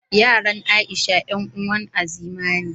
Yaran Aisha 'yan uwar Azima ne.